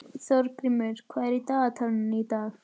Þorgrímur, hvað er í dagatalinu í dag?